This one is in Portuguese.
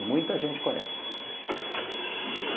E muita gente conhece.